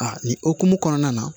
Aa nin hokumu kɔnɔna na